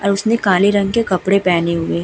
और उसने काले रंग के कपड़े पहने हुए --